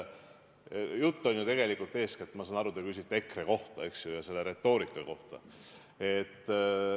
Ma saan aru, et te küsite EKRE kohta, eks ju, ja selle retoorika kohta.